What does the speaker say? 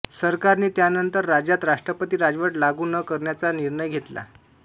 सरकारने त्यानंतर राज्यात राष्ट्रपती राजवट लागू न करायचा निर्णय घेतला